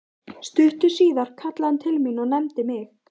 Stuttu síðar kallaði hann til mín og nefndi mig